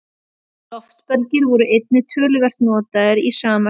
Loftbelgir voru einnig töluvert notaðir í sama skyni.